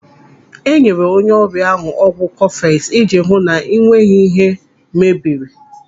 Enyere onye ọrịa ahu ọgwụ kọfeks iji hụ na o nweghị ihe mebiri.